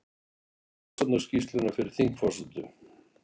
Kynnir rannsóknarskýrsluna fyrir þingforsetum